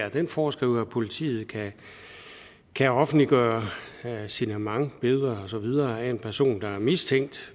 og den foreskriver at politiet kan kan offentliggøre sine mange billeder og så videre af en person der er mistænkt